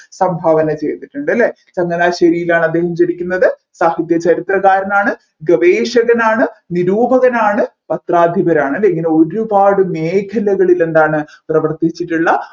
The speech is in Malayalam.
സംഭാവന ചെയ്തിട്ടുണ്ടല്ലേ ചങ്ങനാശേരിയിലാണ് അദ്ദേഹം ജനിക്കുന്നത് സാഹിത്യചരിത്രകാരനാണ് ഗവേഷകനാണ് നിരൂപകനാണ് പത്രാധിപരാണ് അല്ലെ ഇങ്ങനെ ഒരുപാട് മേഖലകളിൽ എന്താണ് പ്രവർത്തിച്ചിട്ടുള്ള